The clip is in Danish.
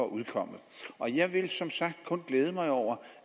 udkomme jeg vil som sagt kun glæde mig over